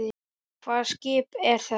Hvaða skip er þetta?